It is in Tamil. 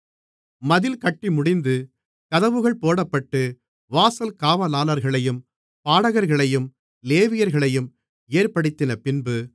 மதில் கட்டிமுடிந்து கதவுகள் போடப்பட்டு வாசல் காவலாளர்களையும் பாடகர்களையும் லேவியர்களையும் ஏற்படுத்தினபின்பு